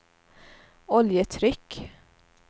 oljetryck